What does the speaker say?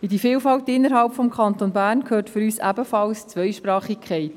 In diese Vielfalt innerhalb des Kantons Bern gehört für uns ebenfalls die Zweisprachigkeit.